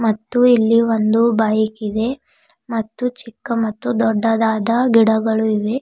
ಮತ್ತು ಇಲ್ಲಿ ಒಂದು ಬೈಕ್ ಇದೆ ಮತ್ತು ಚಿಕ್ಕ ಮತ್ತು ದೊಡ್ಡದಾದ ಗಿಡಗಳು ಇವೆ.